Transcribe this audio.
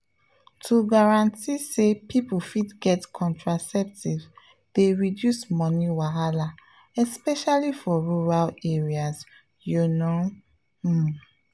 to guarantee say people fit get contraceptives dey reduce money wahala especially for rural areas you know… pause